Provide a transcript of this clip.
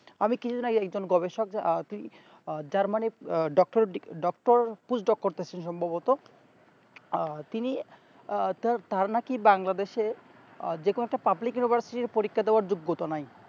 আমি কিছু দিন আগে একজন গবেষক আহ তি যার মানে germany এর দিকে doctorpush-dog করতেছে সম্ভবত আহ তিনি আহ তার নাকি Bangladesh এ যে কোনো একটা public-university র দেয়ার ক্ষমতা নাই